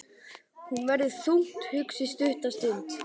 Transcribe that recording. Hún verður þungt hugsi stutta stund.